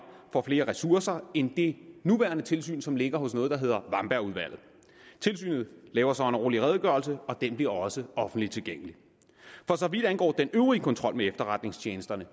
får flere ressourcer end det nuværende tilsyn som ligger hos noget der hedder wambergudvalget tilsynet laver så en årlig redegørelse og den bliver også offentligt tilgængelig for så vidt angår den øvrige kontrol med efterretningstjenesterne